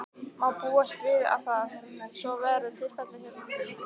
Má búast við að það, svo verði tilfellið hérna?